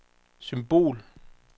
symbol